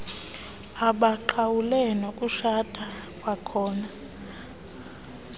abaqhawule banokutshata kwakhona